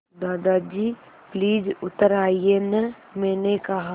दादाजी प्लीज़ उतर आइये न मैंने कहा